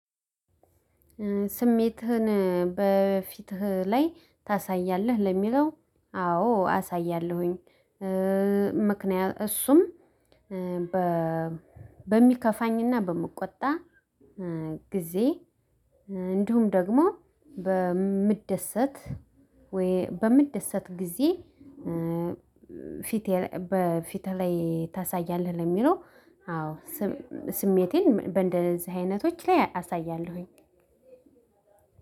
ስሜትህን በፊትህ ላይ ታሳያለህ ለሚለው አዎ አሳያለሁኝ። ምክንያት እሱም በሚከፋኝና በምቆጣ ጊዜ። እንዲሁም ደግሞ በምደሰት ወይ በምደሰት ጊዜ። በፊት ላይ ታሳያለህ ለሚለው አዎ። ስሜቴን እንደዚህ አይነቶች ላይ አሳያለሁኝ።